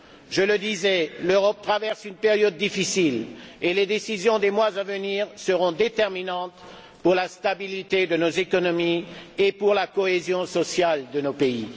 Je le disais, l'Europe traverse une période difficile et les décisions des mois à venir seront déterminantes pour la stabilité de nos économies et pour la cohésion sociale de nos pays.